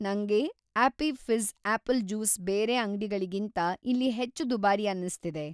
ನಂಗೆ appy fizz apple juice ಬೇರೆ ಅಂಗ್ಡಿಗಳಿಗಿಂತ ಇಲ್ಲಿ ಹೆಚ್ಚು ದುಬಾರಿ ಅನ್ನಿಸ್ತಿದೆ.